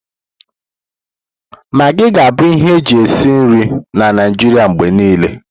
Magii ga-abụ ihe eji esi nri na Naịjirịa mgbe niile.